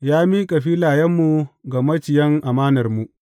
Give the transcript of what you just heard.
Ya miƙa filayenmu ga maciyan amanarmu.’